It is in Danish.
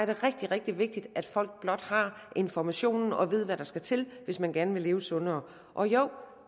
det rigtig rigtig vigtigt at folk blot har informationen og ved hvad der skal til hvis man gerne vil leve sundere og jo